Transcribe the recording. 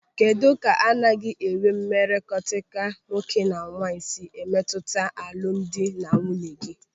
Kedụ ka anaghị enwe mmekọrịta nwoke na nwaanyị si emetụta alụmdi na nwunye gị?